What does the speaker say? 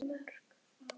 Hvað táknar þetta?